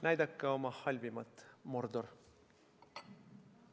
Näidake oma halvimat, Mordor!